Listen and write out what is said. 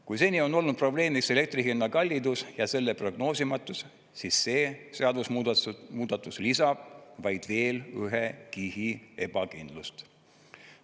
Kui seni on olnud probleem, mis elektri hinna kallidus ja selle prognoosimatus, siis see seadusemuudatus lisab vaid veel ühe kihi ebakindlust.